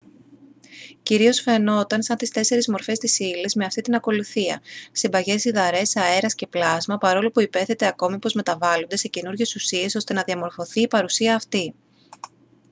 κυρίως φαινόταν σαν τις 4 μορφές της ύλης με αυτήν την ακολουθία: συμπαγές υδαρές αέρας και πλάσμα παρόλο που υπέθετε ακόμη πως μεταβάλλονται σε καινούριες ουσίες ώστε να διαμορφωθεί η παρουσία αυτή